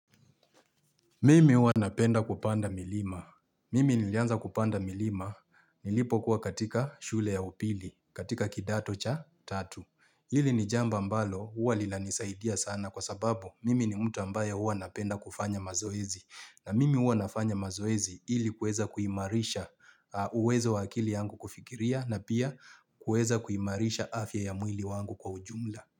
Mimi huwa napenda kupanda milima. Mimi nilianza kupanda milima nilipo kuwa katika shule ya upili, katika kidato cha tatu. Hili ni jambo ambalo huwa linanisaidia sana kwa sababu mimi ni mtu ambaye huwa napenda kufanya mazoezi. Na mimi huwa nafanya mazoezi ili kuweza kuimarisha uwezo wa akili yangu kufikiria na pia kuweza kuimarisha afya ya mwili wangu kwa ujumla.